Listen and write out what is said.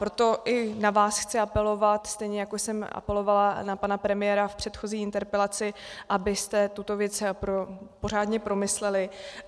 Proto i na vás chci apelovat, stejně jako jsem apelovala na pana premiéra v předchozí interpelaci, abyste tuto věc pořádně promysleli.